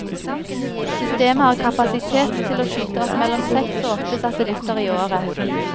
Systemet har kapasitet til å skyte opp mellom seks og åtte satellitter i året.